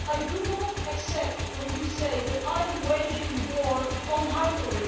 I do not accept it when you say that I am waging war on Hungary.